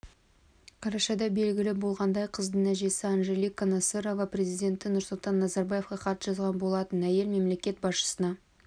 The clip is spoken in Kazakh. қарашада белгілі болғандай қыздың әжесі анжелика насырова президенті нұрсұлтан назарбаевқа хат жазған болатын әйел мемлекет басшысына